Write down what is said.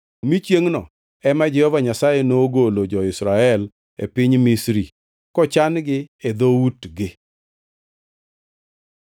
mi chiengʼno ema Jehova Nyasaye nogolo jo-Israel e piny Misri kochan-gi e dhoutgi.